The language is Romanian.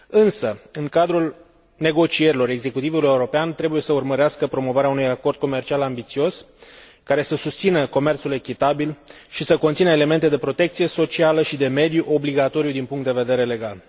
Însă, în cadrul negocierilor, executivul european trebuie să urmărească promovarea unui acord comercial ambițios, care să susțină comerțul echitabil și să conțină elemente de protecție socială și de mediu obligatorii din punct de vedere legal.